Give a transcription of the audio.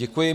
Děkuji.